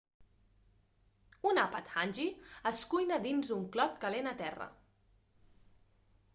un àpat hangi es cuina dins una clot calent a terra